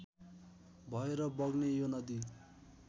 भएर बग्ने यो नदी